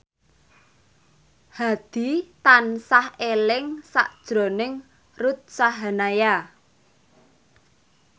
Hadi tansah eling sakjroning Ruth Sahanaya